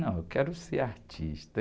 Não, eu quero ser artista.